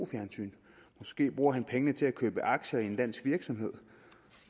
fjernsyn måske bruger han pengene til at købe aktier i en dansk virksomhed